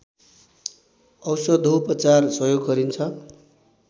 औषधोपचार सहयोग गरिन्छ